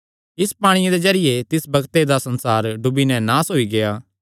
इसी पांणिये दे जरिये तिस बग्ते दा संसार डुबी नैं नास होई गेआ